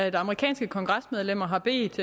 at amerikanske kongresmedlemmer har bedt